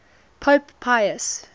pope pius